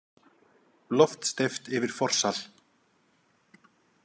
Loft steypt yfir forsal.